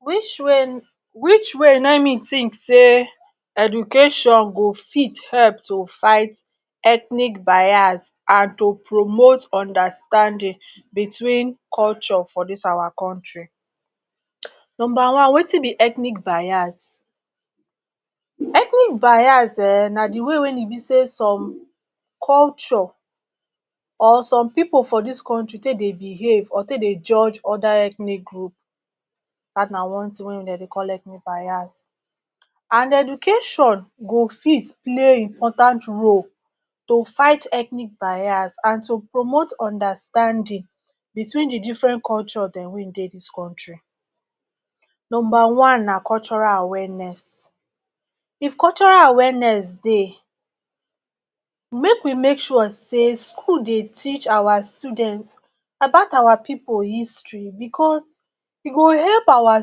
Which which way na e me think sey education go fit help to fight ethnic bias and to promote understanding between culture for dis our country. Number one wetin be ethnic bias; ethnic bias um na de way wey e be sey some culture or some pipu for dis country take dey behave or take dey judge other ethnic group. Dat na one thing wey dem dey call ethnic bias. And education go fit play important role to fight ethnic bias and to promote understanding between de different culture dem wey e dey dis country. Number one na cultural awareness. If cultural awareness dey, make we make sure sey school dey teach our student about our pipu history because e go help our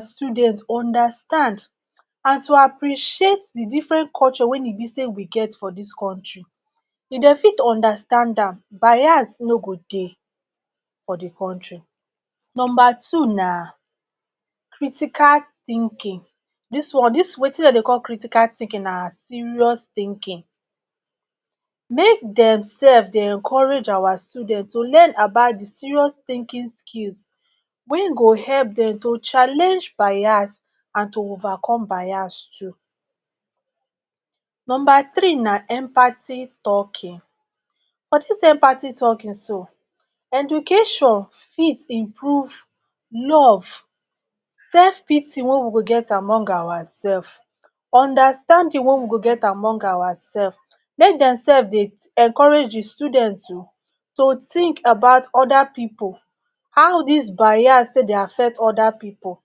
student understand and to appreciate de different culture wey e be sey we get for dis country. If dem fit understand am, bias no go dey for de country. Number two na critical thinking. Dis one, dis, wetin dem dey call critical thinking na serious thinking. Make dem sef dey encourage our students to learn about de serious thinking skills wey go help dem to challenge bias and to overcome bias too. Number three na empathy talking. For dis empathy talking so, education fit improve love, self pity wey we go get among ourself, understanding wey we go get among ourself; make dem sef dey encourage de students to think about other pipu, how dis bias take dey affect other pipu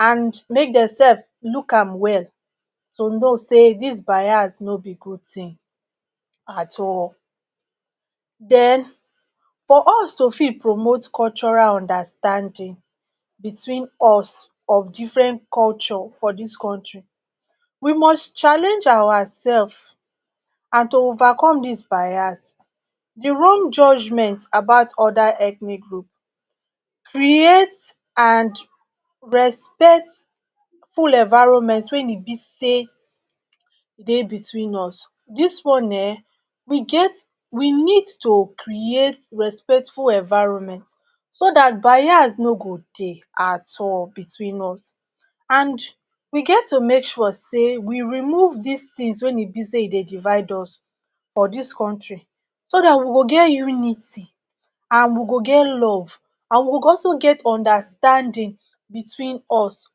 and make dem sef look am well to know sey dis bias no be good thing at all. Den for us to fit promote cultural understanding between us or different culture for dis country, we must challenge ourself and to overcome dis bias, de wrong judgement about other ethnic group. Create and respectful environment wey e be sey dey between us. Dis one um, we get, we need to create respectful environment so dat bias no go dey at all between us and we get to make sure sey we remove dis things wey e be sey e dey divide us for dis country so dat we go get unity and we go get love and we go also get understanding between us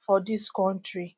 for dis country.